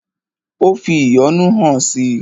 Ó fi ìyọ́nú hàn si.